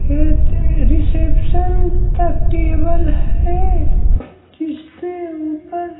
ये रिसेप्शन का टेबल है जिसके ऊपर--